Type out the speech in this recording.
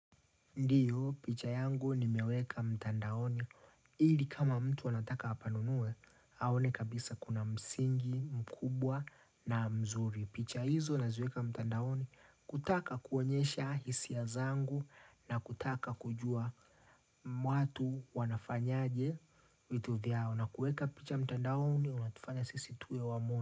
Ndiyo, picha yangu nimeweka mtandaoni. Ili kama mtu anataka apanunue, aone kabisa kuna msingi, mkubwa na mzuri. Picha hizo naziweka mtandaoni kutaka kuonyesha hisia zangu na kutaka kujua watu wanafanyaje vitu vyao. Na kueka picha mtandaoni, unatufanya sisi tuwe wa.